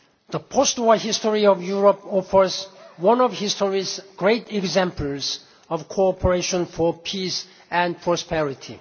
The post war history of Europe offers one of history's great examples of cooperation for peace and prosperity.